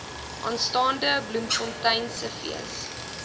aanstaande bloemfonteinse fees